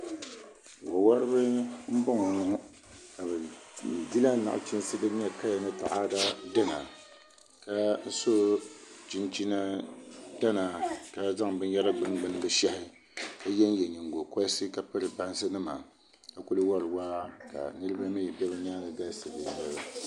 Wo woribi n bɔŋɔ ŋɔ ka bi dila nachiinsi din nyɛ kaya ni taada dina ka so chinchin piɛla ka zaŋ binyɛra gbuni gbuni bi shahi ka yɛnyɛ nyingokoriti ka piri bansi nima ka ku wori waa ka niraba mii bɛ bi nyaangi galisi